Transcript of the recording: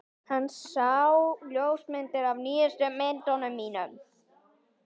Hann sá ljósmyndir af nýjustu myndunum mínum.